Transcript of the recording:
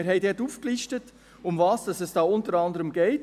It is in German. Und dort haben wir aufgelistet, worum es da unter anderem geht.